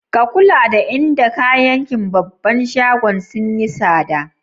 Ka lura da inda kayakin babban shagon sun yi sada?